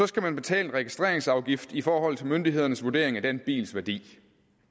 skal man betale registreringsafgift i forhold til myndighedernes vurdering af den bils værdi